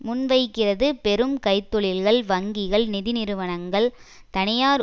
முன்வைக்கிறது பெரும் கைத்தொழில்கள் வங்கிகள் நிதி நிறுவனங்கள் தனியார்